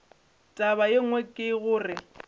taba ye nngwe ke gore